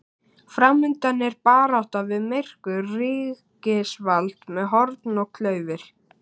Framundan er barátta við myrkur, ríkisvald með horn og klaufir.